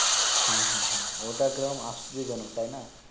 হ্যাঁ হ্যাঁ ওটা কেরম আশ্চর্যজনক তাই না